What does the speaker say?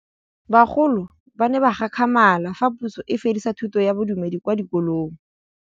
Bagolo ba ne ba gakgamala fa Pusô e fedisa thutô ya Bodumedi kwa dikolong.